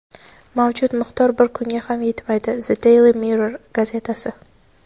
mavjud miqdor bir kunga ham yetmaydi – "The Daily Mirror" gazetasi.